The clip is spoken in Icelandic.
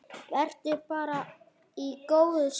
Vertu bara í góðu skapi.